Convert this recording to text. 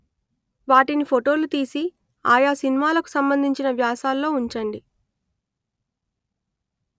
వాటిని ఫొటోలు తీసి ఆయా సినిమాలకు సంబంధించిన వ్యాసాలలో ఉంచండి